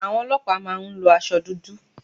Àwọn ọlọ́pàá má a ń lo asọ dúdú